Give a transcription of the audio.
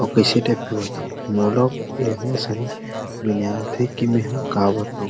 औ कैसे टाइप के बताउ मोल ऐसने समझ नई आत हे की मे हा का बताउ --